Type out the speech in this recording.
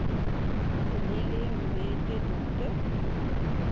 velile mbethe dr